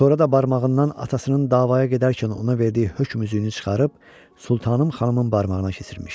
Sonra da barmağından atasının davaya gedərkən ona verdiyi hökm üzüyünü çıxarıb sultanım xanımın barmağına keçirmişdi.